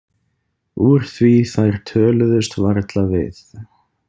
Úr því þær töluðust varla við.